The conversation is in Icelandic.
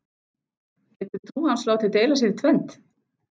Getur trú hans látið deila sér í tvennt?